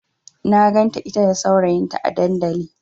Na ganta ita da saurayinta a dandali.